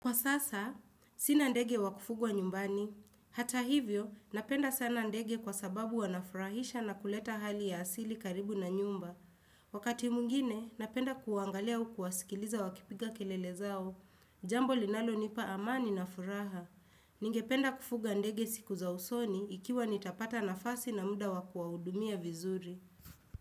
Kwa sasa, sina ndege wa kufugwa nyumbani. Hata hivyo, napenda sana ndege kwa sababu wanafurahisha na kuleta hali ya asili karibu na nyumba. Wakati mwingine, napenda kuwaangalia au kuwasikiliza wakipiga kelele zao. Jambo linalonipa amani na furaha. Ningependa kufuga ndege siku za usoni ikiwa nitapata nafasi na muda wakuwahudumia vizuri.